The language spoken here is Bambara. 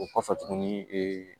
O kɔfɛ tuguni ee